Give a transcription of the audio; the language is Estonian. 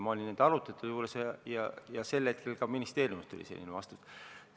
Ma olin nende arutelude juures ja sel hetkel tuli ka ministeeriumist selline vastus.